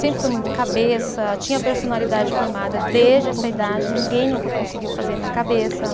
Sempre fui muito cabeça, tinha personalidade formada desde essa idade, ninguém nunca conseguiu fazer minha cabeça.